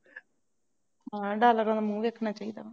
ਉਹਨਾ ਦਾ ਹਾਲੇ ਤੁਹਾਨੂੰ ਮੂੰਹ ਦੇਖਣਾ ਚਾਹੀਦਾ